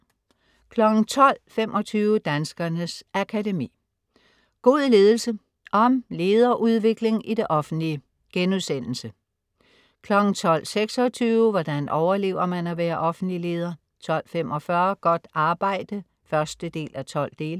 12.25 Danskernes Akademi. God ledelse. Om lederudvikling i det offentlige* 12.26 Hvordan overlever man at være offentlig leder?* 12.45 Godt arbejde 1:12*